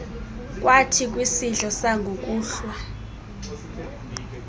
kwathi kwisidlo sangokuhlwa